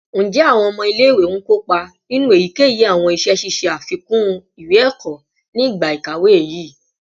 Njẹ awọn ọmọ ile-iwe n kopa ninu eyikeyi awọn iṣẹ ṣiṣe afikun iwe-ẹkọ ni igba ikawe yii?